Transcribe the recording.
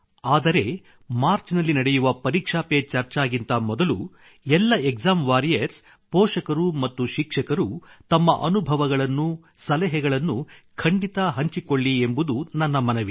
ಆದರೆ ಮಾರ್ಚ್ ನಲ್ಲಿ ನಡೆಯುವ ಪರೀಕ್ಷಾ ಪೆ ಚರ್ಚಾ ಗಿಂತ ಮೊದಲು ಎಲ್ಲ ಎಕ್ಸಾಮ್ ವಾರಿಯರ್ಸ್ ಪೋಷಕರು ಮತ್ತು ಶಿಕ್ಷಕರು ತಮ್ಮ ಅನುಭವಗಳನ್ನು ಸಲಹೆಗಳನ್ನು ಖಂಡಿತ ಹಂಚಿಕೊಳ್ಳಿ ಎಂಬುದು ನನ್ನ ಮನವಿ